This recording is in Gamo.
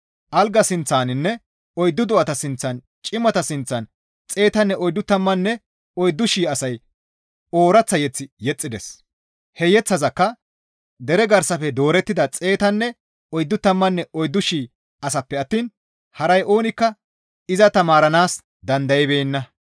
Alga sinththaninne oyddu do7ata sinththan cimata sinththan xeetanne oyddu tammanne oyddu shii asay ooraththa mazamure yexxides; he yeththazakka deraa garsafe doorettida xeetanne oyddu tammanne oyddu shii asaappe attiin haray oonikka iza tamaaranaas dandaybeenna.